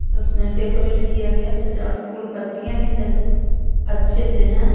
Decorate किया गया सजावट फूल पत्तियां भी अच्छे से हैं।